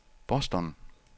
Boston